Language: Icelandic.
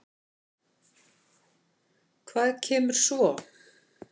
Hvað kemur svo?